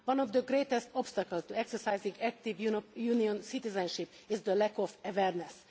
One of the greatest obstacles to exercising active Union citizenship is the lack of awareness.